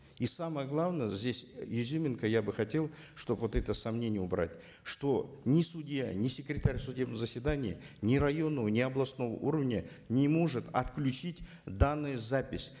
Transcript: и самое главное здесь изюминка я бы хотел чтобы вот это сомнение убрать что ни судья ни секретарь судебного заседания ни районного ни областного уровня не может отключить данную запись